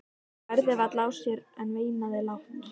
Hann bærði varla á sér en veinaði lágt.